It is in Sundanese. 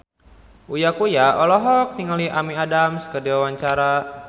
Uya Kuya olohok ningali Amy Adams keur diwawancara